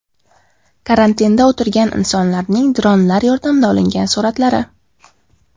Karantinda o‘tirgan insonlarning dronlar yordamida olingan suratlari.